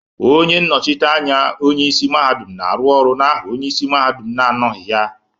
Onye nnochite anya onye isi mahadum na-arụ ọrụ n'aha onye isi mahadum na-anọghị ha.